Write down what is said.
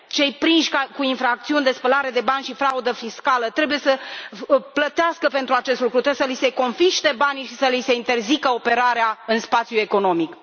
Cei prinși cu infracțiuni de spălare de bani și fraudă fiscală trebuie să plătească pentru acest lucru, trebuie să li se confiște banii și să li se interzică operarea în spațiul economic.